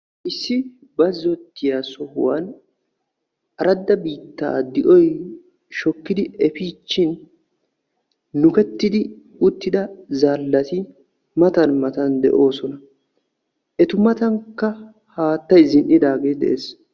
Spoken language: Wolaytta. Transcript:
issi bazzotiya sohuwan aradda biitta de'oy shokkidi efiichin nukkettidi uttida zaalati matan matan de'oosona. eta matankka haattay zin''idaagee de'ees.